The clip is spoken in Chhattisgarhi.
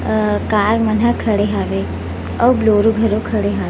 अ कार मन ह खड़े हावे अउ बोलेरो घलो खड़े हावे--